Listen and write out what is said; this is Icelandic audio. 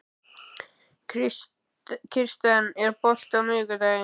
Kirsten, er bolti á miðvikudaginn?